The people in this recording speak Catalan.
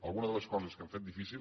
alguna de les coses que han fet difícil